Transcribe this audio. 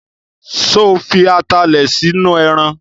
Sọ fi atalẹ̀ sínú ẹran?